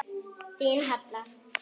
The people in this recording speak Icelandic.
Þín Halla.